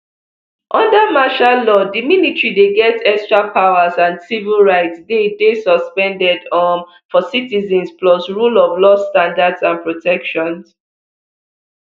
under martial law di military dey get extra powers and civil rights dey dey suspended um for citizens plus rule of law standards and protections